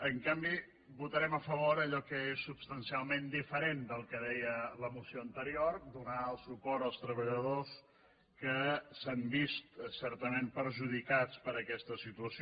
en canvi votarem a favor d’allò que és substancialment diferent del que deia la moció anterior donar el suport als treballadors que s’han vist certament perjudicats per aquesta situació